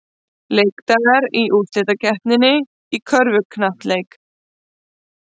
Leikdagar í úrslitakeppninni í körfuknattleik